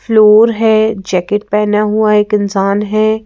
Floor है jacket पहना हुआ एक इंसान है।